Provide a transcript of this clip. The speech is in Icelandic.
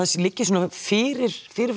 liggi svona fyrir fyrir